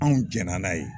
Anw jɛnna n'a ye